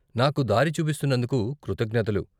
నాకు దారి చూపిస్తున్నందుకు కృతజ్ఞతలు.